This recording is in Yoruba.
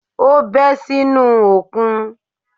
Ó bẹ́ sínú òkun